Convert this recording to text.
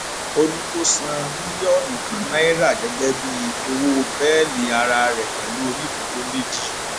ó ní kó san mílíọnù kan náírà gẹgẹ bíi owó bẹẹlí ara rẹ pẹlú onídùúró méjì